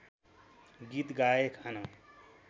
गीत गाए खान